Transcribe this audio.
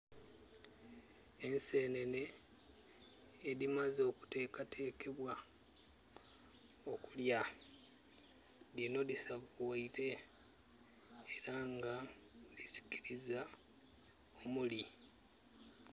Ensenene edimaze okutekatekebwa okulya, dino disavuwaire era nga disikiriza omuli